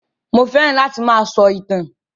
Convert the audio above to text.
Mo fẹ́ràn láti máa sọ ìtàn